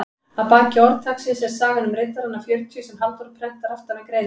Að baki orðtaksins er sagan um riddarana fjörutíu sem Halldór prentar aftan við greinina.